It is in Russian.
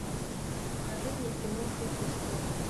покажи мне кино шутки в сторону